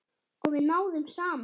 Og við náðum saman.